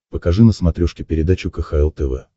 покажи на смотрешке передачу кхл тв